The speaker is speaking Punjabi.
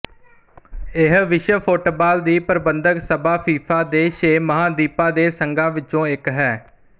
ਇਹ ਵਿਸ਼ਵ ਫੁੱਟਬਾਲ ਦੀ ਪ੍ਰਬੰਧਕ ਸਭਾ ਫੀਫਾ ਦੇ ਛੇ ਮਹਾਂਦੀਪਾਂ ਦੇ ਸੰਘਾਂ ਵਿੱਚੋਂ ਇੱਕ ਹੈ